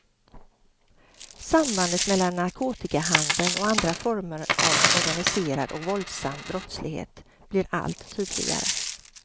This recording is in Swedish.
Sambandet mellan narkotikahandeln och andra former av organiserad och våldsam brottslighet blir allt tydligare.